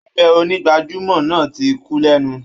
Abẹ onígbàjámọ̀ náà ti kú lẹ́nu